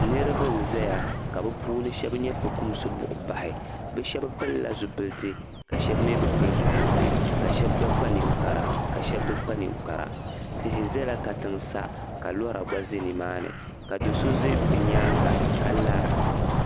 Niriba n-zaya ka bɛshɛba nyɛ fukumsibuhibahi ka bɛ shɛba pili zupiliti ka bɛ shɛba mi bi pili zupiliti ka shɛba gba kpa ninkpara ka shɛba bi kpa ninkpara tihi zala katiŋa sa ka lora gba be nimaani do' so za katiŋa sa ka lara